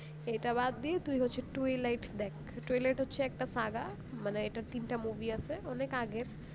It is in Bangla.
এটা ব্যাড দিয়ে তুই হচ্ছে twilight দেখ twilight হচ্ছে একটা সাগা মানে এটার তিনটা movie আছে অনেক আগের